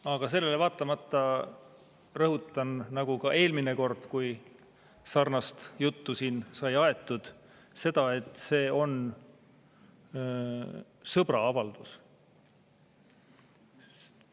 Aga sellele vaatamata ma rõhutan, nagu rõhutasin ka eelmine kord, kui sarnast juttu sai aetud, et see on sõbra avaldus.